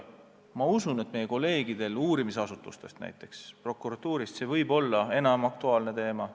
Ma usun, et meie kolleegidele uurimisasutustest, näiteks prokuratuurist on see enam aktuaalne teema.